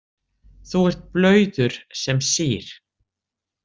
Þú ert blauður sem sýr.